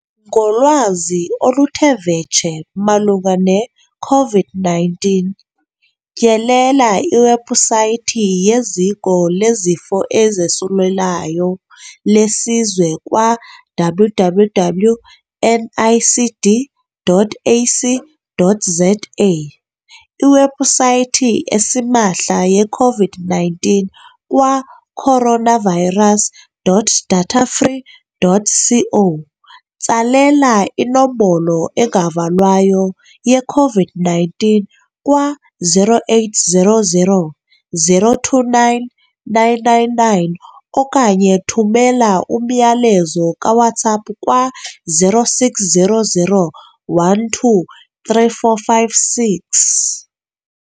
Ngolwazi oluthe vetshe malunga neCOVID-19, tyelela iwebhusaythi yeZiko leZifo ezoSulelayo leSizwe kwa-www.nicd.ac.za, iwebhusaythi esimahla yeCOVID-19 kwa-coronavirus.datafree.co, tsalela iNombolo engaValwayo yeCOVID-19 kwa-0800 029 999 okanye thumela umyalezo kaWhatsApp kwa-0600 12 3456.